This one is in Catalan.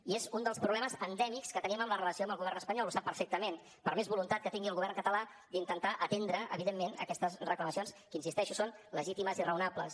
i és un dels problemes endèmics que tenim en la relació amb el govern espanyol ho sap perfectament per més voluntat que tingui el govern català d’intentar atendre evidentment aquestes reclamacions que hi insisteixo són legítimes i raonables